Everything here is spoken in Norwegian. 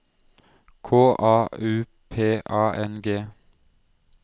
K A U P A N G